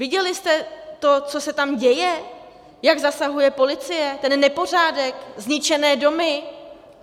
Viděli jste to, co se tam děje, jak zasahuje policie, ten nepořádek, zničené domy?